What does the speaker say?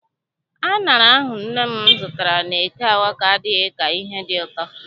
Aṅara ahụ nne m zụtara n'eke Awka adịghị ka ihe dị ụtọ.